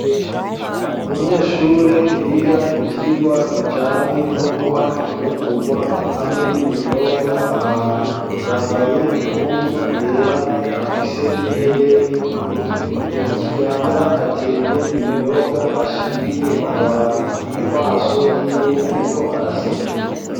Umunyeshure yiga ivyigwa bijanye no guha imfungurwa, hamwe n'ibinyobwa abantu ,yambaye impuzu yera afise n'ihereni ku gutwi ,mu kiganza ateruye ibinyobwa ashiriye abantu mu maso y'iwe ariko araseka.